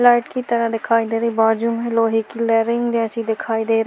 light की तरह दिखाई दे रही है बाजू में लोहै की लैरिंग जैसी दिखाई दे र --